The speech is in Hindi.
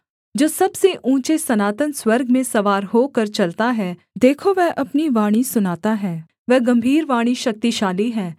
जो सबसे ऊँचे सनातन स्वर्ग में सवार होकर चलता है देखो वह अपनी वाणी सुनाता है वह गम्भीर वाणी शक्तिशाली है